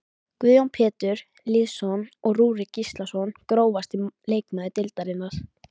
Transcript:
Guðjón Pétur Lýðsson og Rúrik Gíslason Grófasti leikmaður deildarinnar?